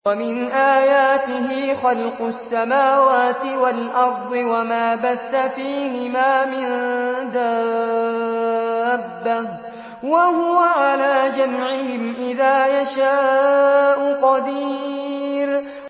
وَمِنْ آيَاتِهِ خَلْقُ السَّمَاوَاتِ وَالْأَرْضِ وَمَا بَثَّ فِيهِمَا مِن دَابَّةٍ ۚ وَهُوَ عَلَىٰ جَمْعِهِمْ إِذَا يَشَاءُ قَدِيرٌ